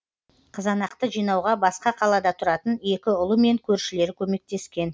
қызанақты жинауға басқа қалада тұратын екі ұлы мен көршілері көмектескен